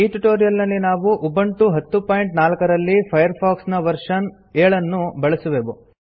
ಈ ಟ್ಯುಟೋರಿಯಲ್ ನಲ್ಲಿ ನಾವು ಉಬುಂಟು 1004 ರಲ್ಲಿ ಫೈರ್ಫಾಕ್ಸ್ ನ ವರ್ಷನ್ 70 ಅನ್ನು ಬಳಸುವೆವು